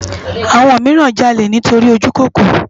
Awòn mirán jàlé nitóri ójúkókóró